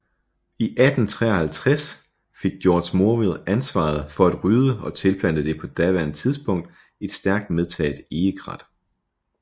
I 1853 fik Georg Morville ansvaret for at rydde og tilplante det på daværende tidspunkt et stærkt medtaget egekrat